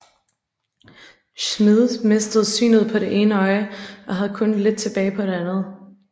Schmid mistede synet på det ene øje og havde kun lidt tilbage på det andet